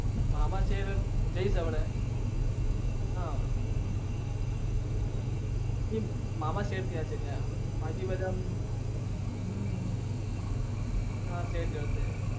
મામા છે એટલે જઈશ હા મામા બાકી બધા